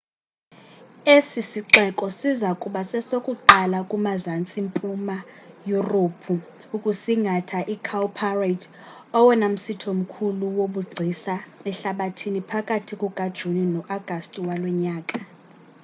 esi sixeko siza kuba sesokuqala kumazantsi mpuma yurophu ukusingatha icowparade owona msitho mkhulu wobugcisa ehlabathini phakathi kukajuni no-agasti walo nyaka